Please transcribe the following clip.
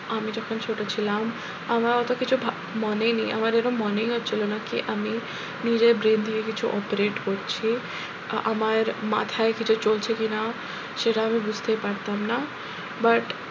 আমি যখন ছোট ছিলাম আমার অত কিছু মনে নেই আমার মনেই হচ্ছিল না কি আমি নিজের brain দিয়ে কিছু operate করছি আহ আমার মাথায় কিছু চলছে কিনা সেটা আমি বুঝতেই পারতাম না but